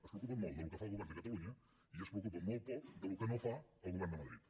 es preocupen molt del que fa el govern de catalunya i es preocupen molt poc del que no fa el govern de madrid